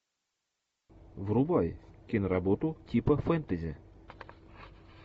врубай киноработу типа фэнтези